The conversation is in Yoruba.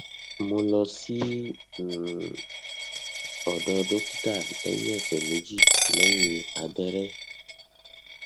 mo lọ sí um ọdọ dókítà lẹyìn ọsẹ méjì lẹyìn abẹrẹ